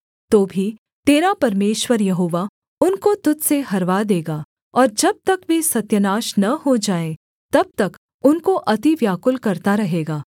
तो भी तेरा परमेश्वर यहोवा उनको तुझ से हरवा देगा और जब तक वे सत्यानाश न हो जाएँ तब तक उनको अति व्याकुल करता रहेगा